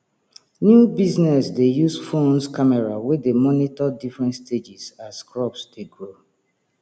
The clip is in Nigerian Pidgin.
new business dey use phones camera wey dey monitor different stages as crops dey grow